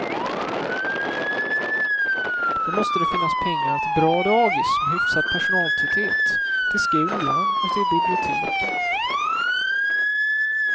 Då måste det finnas pengar till bra dagis med hyfsad personaltäthet, till skolan och till biblioteken.